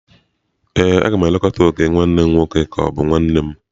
Ee, a ga m elekọta ok nwanne m nwoke ka ọ bụ nwa nne m.